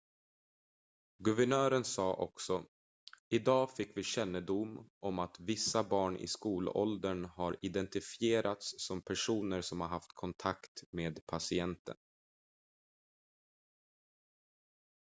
"guvernören sa också: "idag fick vi kännedom om att vissa barn i skolåldern har identifierats som personer som haft kontakt med patienten.""